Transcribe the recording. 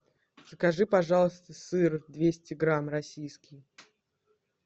закажи пожалуйста сыр двести грамм российский